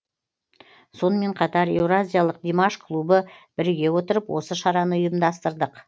сонымен қатар еуразиялық димаш клубы біріге отырып осы шараны ұйымдастырдық